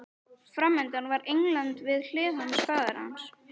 Framundan var England, við hlið hans faðir hans